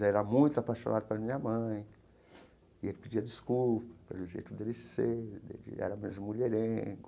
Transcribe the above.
Ele era muito apaixonado pela minha mãe e ele pedia desculpa pelo jeito de ele ser, de ele era mesmo mulherengo.